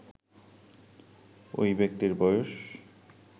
ওই ব্যক্তির বয়স